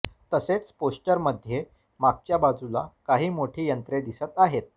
तसेच पोस्टरमध्ये मागच्या बाजूला काही मोठी यंत्रे दिसत आहेत